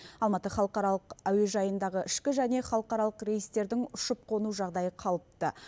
алматы халықаралық әуежайындағы ішкі және халықаралық рейстердің ұшып қону жағдайы қалыпты